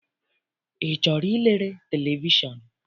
I chọrọ ilere televishọn?